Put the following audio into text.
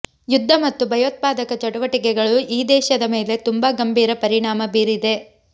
ಯುದ್ಧ ಮತ್ತು ಭಯೋತ್ಪಾದಕ ಚಟುವಟಿಕೆಗಳು ಈ ದೇಶದ ಮೇಲೆ ತುಂಬಾ ಗಂಭೀರ ಪರಿಣಾಮ ಬೀರಿದೆ